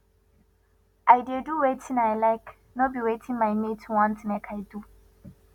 i dey do wetin i like no be wetin my mates want make i do